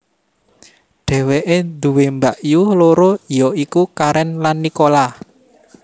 Dheweke duwé mbakyu loro ya iku Karen lan Nicola